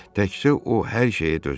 Təkcə o hər şeyə dözür.